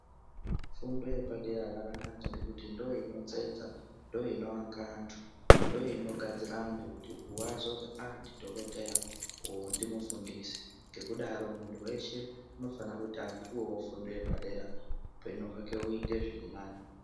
Fundo yepadera yakanaka ngekuti ndoinotsetsa ndoinoaka antu. Ndoinogadzira antu kuti vazozi aa ndidhogodheya uyu ngimufundisi. Ngekudaro muntu veshe unofana kuti apuvevo fundo yepadera upenyu hwake uite zvirinani.